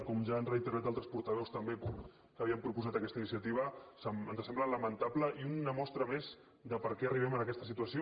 com ja han reiterat altres portaveus també que havien proposat aquesta iniciativa ens sembla lamentable i una mostra més de perquè arribem en aquesta situació